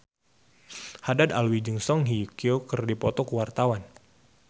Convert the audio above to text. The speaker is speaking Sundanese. Haddad Alwi jeung Song Hye Kyo keur dipoto ku wartawan